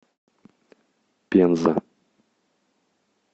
пенза